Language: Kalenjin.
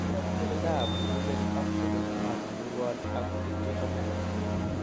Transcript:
Nune mukuleldab mukunket ak kotolelionit nemurwon ak kityo komee.